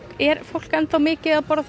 er fólk enn þá mikið að borða það